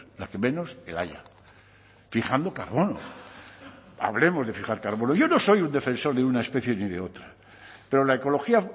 la que menos el haya fijando carbono hablemos de fijar carbono yo no soy un defensor de una especie ni de otra pero la ecología